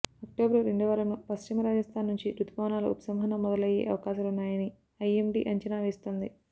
October రెండోవారంలో పశ్చిమ రాజస్థాన్ నుంచి రుతుపవనాల ఉపసంహరణ మొదలయ్యే అవకాశాలున్నాయని ఐఎండీ అంచనా వేస్తోంది